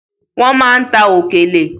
Wọ́n ma ń ta òkèlè.